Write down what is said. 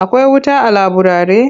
Akwai wuta a laburare?